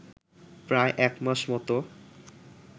প্রায় একমাস মতো